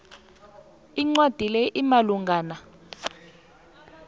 incwadi le imalungana